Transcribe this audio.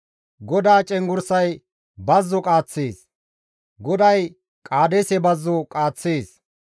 GODAA cenggurssay bazzo qaaththees; GODAY Qaadeese Bazzo qaaththees.